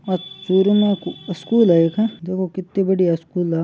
आ चूरू में स्कूल है एक देखो कित्ती बढ़िया स्कूल है आ।